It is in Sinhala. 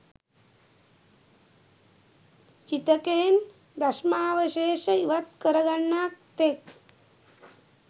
චිතකයෙන් භෂ්මාවශේෂ ඉවත් කරගන්නා තෙක්